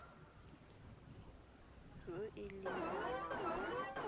yo e leng ngwana wa